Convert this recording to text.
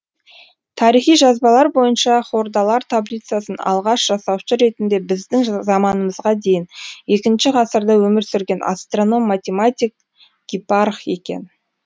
тарихи жазбалар бойынша хордалар таблицасын алғаш жасаушы ретінде біздің заманымызға дейін екінші ғасырда өмір сүрген астраном математик гипарх екен